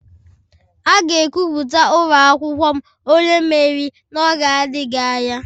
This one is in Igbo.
A ga-ekwupụta ụlọ akwụkwọ m onye mmeri n'oge adịghị anya.